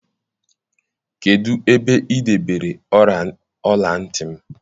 Kedụ ebe ị debere ọla ntị m?